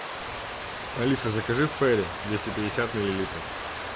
алиса закажи фейри двести пятьдесят миллилитров